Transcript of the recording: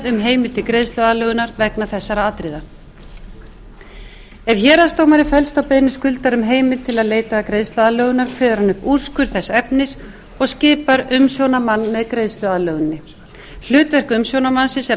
um heimild til greiðsluaðlögunar vegna þessara atriða ef héraðsdómari fellst á beiðni skuldara um heimild til að leita greiðsluaðlögunar kveður hann upp úrskurð þess efnis og skipar umsjónarmann að greiðsluaðlöguninni hlutverk umsjónarmanns er